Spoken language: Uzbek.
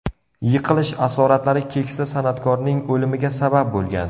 Yiqilish asoratlari keksa san’atkorning o‘limiga sabab bo‘lgan.